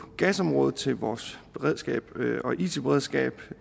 gasområdet til vores beredskab og it beredskab